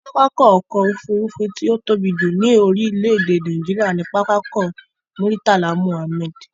Pápákọ̀ ọ̀kọ òfurufú tí ó tóbi jù ní orílé èdè Nàìjíría ni Pápákọ̀ Murtala Mohammed